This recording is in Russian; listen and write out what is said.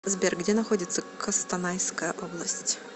сбер где находится костанайская область